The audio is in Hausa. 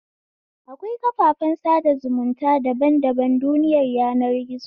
Akwai kafafen sada zumunta dan daban duniyar yanar gizo